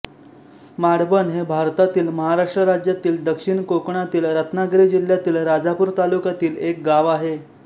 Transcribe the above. माडबन हे भारतातील महाराष्ट्र राज्यातील दक्षिण कोकणातील रत्नागिरी जिल्ह्यातील राजापूर तालुक्यातील एक गाव आहे